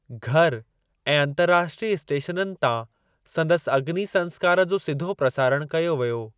घर ऐं अंतर्राष्ट्रीय स्टेशननि तां संदसि अग्नी संस्कार जो सीधो प्रसारणु कयो वियो।